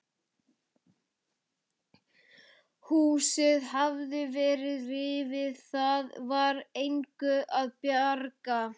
Húsið hafði verið rifið, það var engu að bjarga.